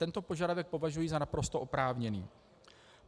Tento požadavek považuji za naprosto oprávněný.